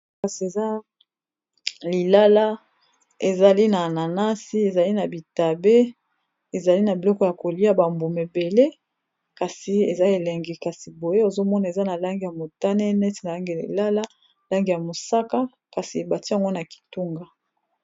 Oyo eza lilala ezali na ananasi ezali na bitabe ezali na biloko ya kolia bambume ebele kasi eza elengi kasi boye ozomona eza na lange ya motane neti na lange lilala lange ya mosaka kasi ebati yango na kitunga.